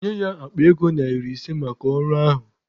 Nye ya akpa ego narị ise maka ọrụ ahụ.